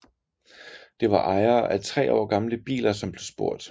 Det var ejere af tre år gamle biler som blev spurgt